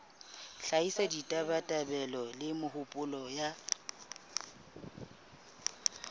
hlahisa ditabatabelo le mehopolo ya